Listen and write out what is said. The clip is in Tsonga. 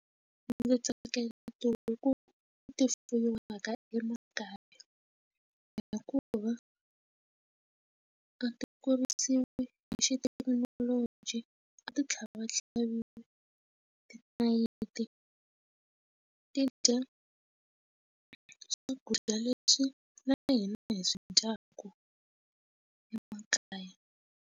Ndzi tsakela tihuku leti fuyiwaka emakaya hikuva a ti kurisiwe hi xithekinoloji a ti tlhava va tlhaviwa tinayiti ti dya swakudya leswi na hina hi swi dyaku emakaya.